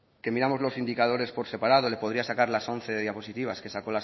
que miramos los indicadores por separado le podría sacar las once diapositivas que sacó